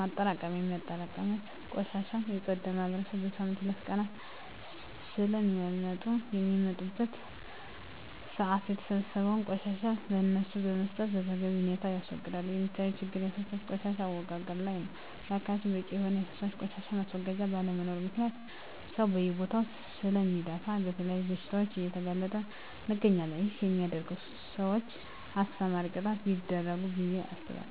ማጠራቀሚያ በማጠራቀም የቆሻሻ የፅዳት ማህበራት በሳምንት ሁለት ቀናት ስለሚመጡ በሚመጡበት ሰአት የተሰበሰበውን ቆሻሻ ለነሱ በመስጠት በተገቢ ሁኔታ ያስወግዳሉ። የሚታዪ ችግሮች የፈሳሽ ቆሻሻ አወጋገድ ላይ ነው በአካባቢያችን በቂ የሆነ የፈሳሽ ቆሻሻ ማስወገጃ ባለመኖሩ ምክንያት ሰው በየቦታው ስለሚደፍ ለተለያዩ በሽታዎች እየተጋለጠን እንገኛለን ይህን በሚያደርጉ ሰውች አስተማሪ ቅጣቶች ቢደረጉ ብየ አስባለሁ።